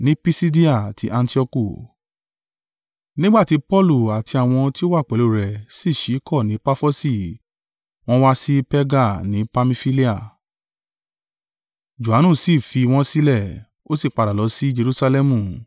Nígbà tí Paulu àti àwọn tí ó wà pẹ̀lú rẹ̀ si ṣíkọ̀ ni Pafosi wọ́n wá sí Perga ni Pamfilia: Johanu sì fi wọ́n sílẹ̀, ó sì padà lọ sí Jerusalẹmu.